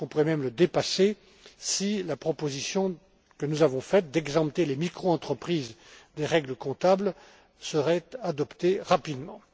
Je pense qu'on pourrait même le dépasser, si la proposition que nous avons faite d'exempter les microentreprises des règles comptables était adoptée rapidement.